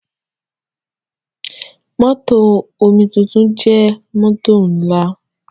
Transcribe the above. Mótò omituntun jẹ́ mótò ńlá.